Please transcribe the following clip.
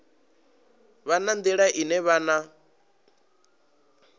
vha na nḓila ine vhana